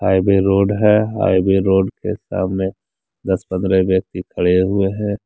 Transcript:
Highway road है highway road के सामने दस पंद्रह व्यक्ति खड़े हुए हैं।